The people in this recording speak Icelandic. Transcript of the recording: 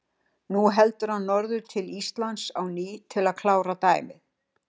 Nú héldi hann norður til Íslands á ný til að klára dæmið.